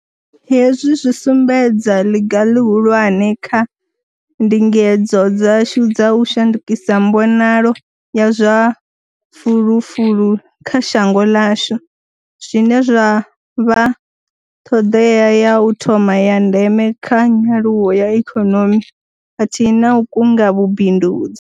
Hezwi zwi sumbedza ḽiga ḽihulwane kha ndingedzo dzashu dza u shandukisa mbonalo ya zwa fulufulu kha shango ḽashu, zwine zwa vha ṱhoḓea ya u thoma ya ndeme kha nyaluwo ya ikonomi khathihi na u kunga vhubindudzi.